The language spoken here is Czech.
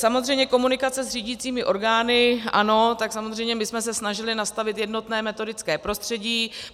Samozřejmě komunikace s řídicími orgány ano, tak samozřejmě, my jsme se snažili nastavit jednotné metodické prostředí.